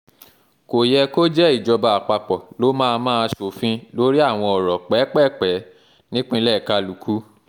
kò yẹ kó jẹ́ ìjọba àpapọ̀ ló máa máa ṣòfin lórí àwọn ọ̀rọ̀ pẹ́ẹ́pẹ̀ẹ̀pẹ́ẹ́ nípínlẹ̀ kálukú